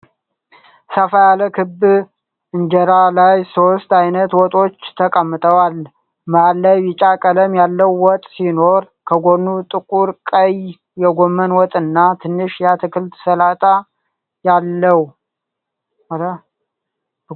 ሰፋ ያለ ክብ እንጀራ ላይ ሶስት አይነት ወጦች ተቀምጠዋል። መሃል ላይ ቢጫ ቀለም ያለው ወጥ ሲኖር፣ ከጎኑ ጥቁር ቀይ የጎመን ወጥና ትንሽ የአትክልት ሰላጣ አለ።